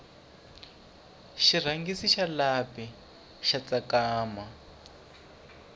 xirhangisi xa lapi xa tsakama